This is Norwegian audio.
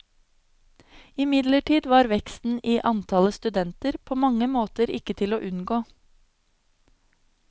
Imidlertid var veksten i antallet studenter på mange måter ikke til å unngå.